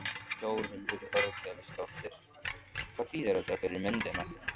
Þórhildur Þorkelsdóttir: Hvað þýðir þetta fyrir myndina?